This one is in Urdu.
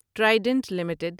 Trident limited